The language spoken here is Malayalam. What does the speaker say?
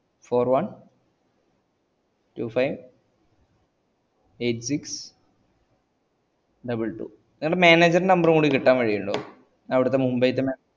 four one two five eight six double two നിന്റെ manager ൻറെ number കൂടെ കിട്ടാൻ വഴി ഇൻഡോ ഞാൻ അവിടത്തെ Mumbai തന്നെ